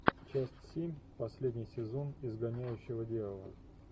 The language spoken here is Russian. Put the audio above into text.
часть семь последний сезон изгоняющего дьявола